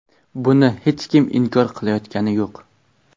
Buni hech kim inkor qilayotgani yo‘q.